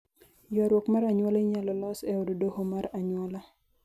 ywaruok mar anyuola inyalo los e od doho mar anyuola